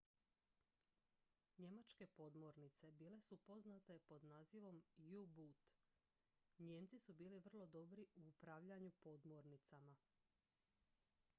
njemačke podmornice bile su poznate pod nazivom u-boot nijemci su bili vrlo dobri u upravljanju podmornicama